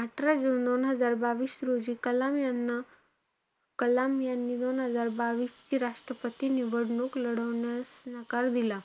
अठरा जुन दोन हजार बावीस रोजी कलाम यांना~ कलाम यांना~ यांनी दोन हजार बावीसची निवडणूक लढवण्यास नकार दिला.